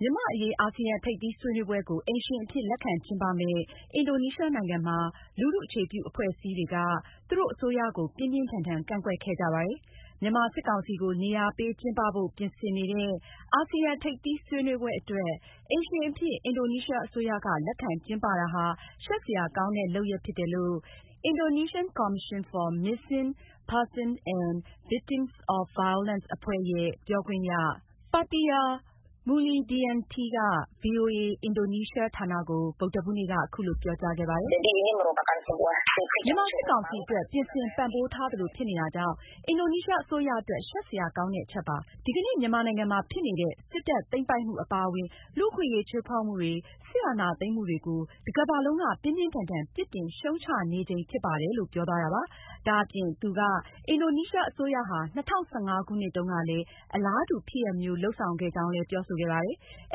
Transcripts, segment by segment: မြန်မာ့အရေး အာဆီယံထိပ်သီးဆွေးနွေးပွဲကို အိမ်ရှင်အဖြစ် လက်ခံကျင်းပမယ့် အင်ဒိုနီးရှားနိုင်ငံမှာ လူထုအခြေပြုအဖွဲ့အစည်းတွေက သူတို့အစိုးရကို ပြင်းပြင်းထန်ထန်ကန့်ကွက်ခဲ့ကြပါတယ်။ မြန်မာစစ်ကောင်စီကို နေရာပေးကျင်းပဖို့ ပြင်ဆင်နေတဲ့ အာဆီယံထိပ်သီးဆွေးနွေးပွဲအတွက် အိမ်ရှင်အဖြစ် အင်ဒိုနီးရှားအစိုးရက လက်ခံကျင်းပတာဟာ ရှက်စရာကောင်းတဲ့ လုပ်ရပ်ဖြစ်တယ်လို့ Indonesian Commission for Missing Persons and Victims of Violence အဖွဲ့ရဲ့ ပြောခွင့်ရ Fatia Maulidiyanti ကဗွီအိုအေ အင်ဒိုနီးရှားဌာနကို ဗုဒ္ဓဟူးနေ့က အခုလိုပြောကြားခဲ့ပါတယ်။ " မြန်မာစစ်ကောင်စီအတွက် ပြင်ဆင်ပံ့ပိုးပေးထားသလိုဖြစ်နေတာကြောင့် အင်ဒိုနီးရှားအစိုးရ အတွက်ရှက်စရာကောင်းတဲ့အချက်ပါ။ ဒီကနေ့ မြန်မာနိုင်ငံမှာ ဖြစ်နေတဲ့ စစ်တပ် သိမ်းပိုက်မှုအပါအဝင် လူ့အခွင့်အရေးချိုးဖောက်မှုတွေ၊ စစ်အာဏာသိမ်းမှုတွေကို တကမ္ဘာလုံးက ပြင်းပြင်းထန်ထန်ပြစ်တင်ရှုတ်ချနေချိန်ဖြစ်ပါတယ်။” အင်ဒိုနီးရှားအစိုးရဟာ ၂၀၁၅ခုနှစ်တုန်းကလည်း အလားတူဖြစ်ရပ်မျိုး လုပ်ဆောင်ခဲ့ကြောင်းလည်း Maulidiyanti ကပြောဆိုခဲ့ပါတယ်။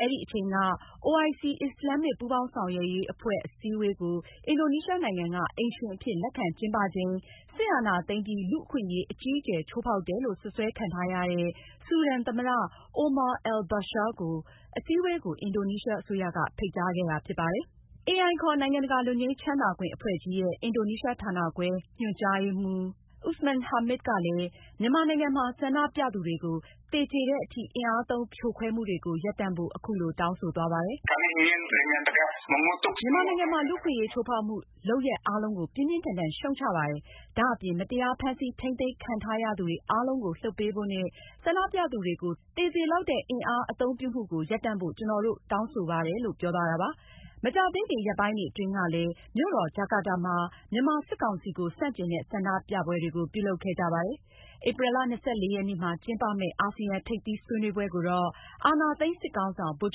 အဲဒီအချိန်က OIC အစ္စလာမ့်ပူးပေါင်းဆောင်ရွက်ရေးအဖွဲ့ အစည်းအဝေးကို အင်ဒိုနီးရှားနိုင်ငံက အိမ်ရှင်အဖြစ်လက်ခံကျင်းပချိန်မှာ စစ်အာဏာသိမ်းပြီး လူ့အခွင့်အရေးအကြီးအကျယ်ချိုးဖောက်တယ်လို့ စွပ်စွဲခံထားရတဲ့ ဆူဒန်သမ္မတ Omar al-Bashir ကို အစည်းအဝေးကို အင်ဒိုနီးရှား အစိုးရ ဖိတ်ကြားခဲ့တာဖြစ်ပါတယ်။ AI ခေါ်နိုင်ငံတကာလွတ်ငြိမ်းချမ်းသာခွင့်အဖွဲ့ကြီးရဲ့ အင်ဒိုနီးရှားဌာနခွဲ ညွှန်ကြားရေးမှူး Usman Hamid ကလည်း မြန်မာနိုင်ငံမှာ ဆန္ဒပြသူတွေကို သေကြေတဲ့အထိ အင်အားသုံးဖြိုခွဲမှုတွေကို ရပ်တန့်ဖို့ အခုလို တောင်းဆိုသွားပါတယ်။ “ မြန်မာနိုင်ငံမှာ လူ့အခွင့်အရေးချိုးဖောက်မှု လုပ်ရပ်အားလုံးကို ပြင်းပြင်းထန်ထန် ရှုတ်ချပါတယ်။ ဒါအပြင် မတရားဖမ်းဆီးထိန်းသိမ်းခံထားရသူတွေ အားလုံးကိုလွှတ်ပေးဖို့နဲ့ ဆန္ဒပြသူတွေကို သေစေလောက်တဲ့အင်အား အသုံးပြုမှုကိုရပ်တန့်ဖို့ကျနော်တို့ တောင်းဆိုပါတယ်။” မကြာသေးခင်ရက်ပိုင်းတွေအတွင်းကလည်း မြို့တော် ဂျာကာဒါမှာ မြန်မာစစ်ကောင်စီကို ဆန့်ကျင်တဲ့ ဆန္ဒပြပွဲတွေ ပြုလုပ်ခဲ့ကြပါတယ်။ ဧပြီလ ၂၄ ရက်နေ့မှာ ကျင်းပမယ့် အာဆီယံထိပ်သီးဆွေးနွေးပွဲကိုတော့ အာဏာသိမ်းစစ်ခေါင်းဆောင် ဗိုလ်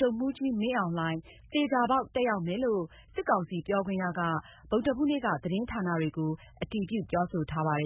ချုပ်မှူးကြီး မင်းအောင်လှိုင် သေချာပေါက် တက်ရောက်မယ်လို့ စစ်ကောင်စီပြောခွင့်ရက ဗုဒ္ဓဟူးနေ့က သတင်းဌာနတွေကို အတည်ပြုပြောဆိုထားပါတယ်